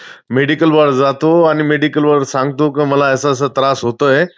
Medical वर जातो आणि medical वर सांगतो, की मला असं असं त्रास होतोय